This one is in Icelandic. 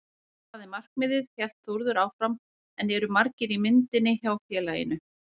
Það er markmiðið, hélt Þórður áfram en eru margir í myndinni hjá félaginu?